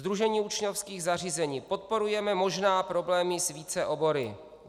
Sdružení učňovských zařízení: Podporujeme, možná problémy s více obory.